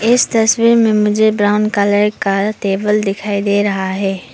इस तस्वीर में मुझे ब्राउन कलर का टेबल दिखाई दे रहा है।